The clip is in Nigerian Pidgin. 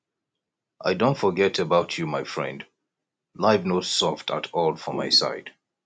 i don forget about you my friend life no soft at all for my side